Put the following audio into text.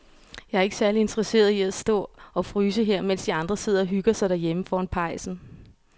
Jeg er ikke særlig interesseret i at stå og fryse her, mens de andre sidder og hygger sig derhjemme foran pejsen.